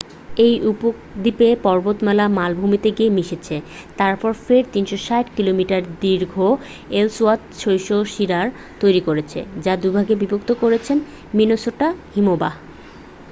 এই উপদ্বীপের পর্বতমালা মালভূমিতে গিয়ে মিশেছে তারপরে ফের 360 কিলোমিটার দীর্ঘ এলসওয়ার্থ শৈলশিরা তৈরি করেছে যা দুভাগে বিভক্ত করেছে মিনেসোটা হিমবাহ